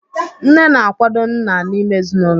Nne na-akwado nna n'ime ezinụlọ.